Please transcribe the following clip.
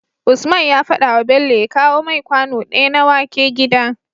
Usman ya fadawa Bello ya kawo mai kwano daya na wake gida